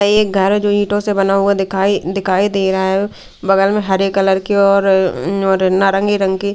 एक घर जो ईंटों से बना हुआ दिखाई दिखाई दे रहा है बगल में हरे कलर के और नारंगी रंग के--